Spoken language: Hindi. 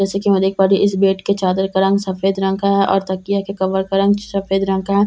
जैसे कि हम देख इस बेड के चादर का रंग सफेद रंग का है और तकिया के कवर का रंग सफेद रंग का है।